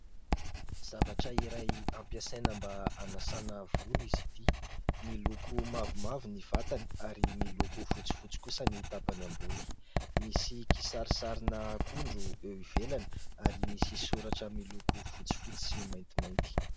Zavatra iray ampiasaina mba hanasana volo izy ity. Miloko mavomavo ny vatany ary miloko fotsifotsy kosa ny tapany ambony. Misy kisarisarina akondro eo ivelany ary misy soratra miloko fotsifotsy sy maintimainty.